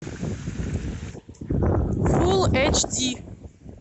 фулл эйч ди